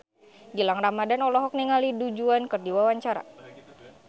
Gilang Ramadan olohok ningali Du Juan keur diwawancara